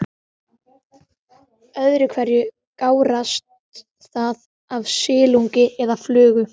Öðru hverju gárast það af silungi eða flugu.